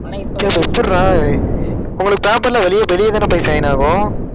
ஆனா இப்போ எப்படிடா உங்களுக்கு பேப்பர்ல வெளிய வெளிய தான போய் sign ஆகும்